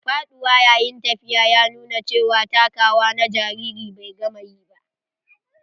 Faɗuwa yayin tafiya ya nuna cewa takawa na jaririn bai gama ƴi ba.